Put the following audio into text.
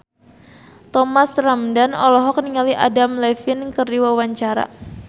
Thomas Ramdhan olohok ningali Adam Levine keur diwawancara